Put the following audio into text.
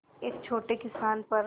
एक छोटे किसान पर